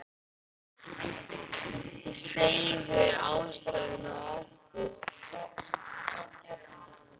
Ég segi þér ástæðuna á eftir